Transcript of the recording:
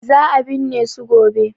Za a binne su gobe.